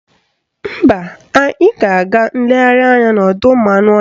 Mba, anyị ga-aga nlegharị anya n'ọdọụmụanụọhịa